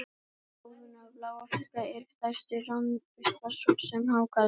Helstu óvinir bláfiska eru stærri ránfiskar, svo sem hákarlar.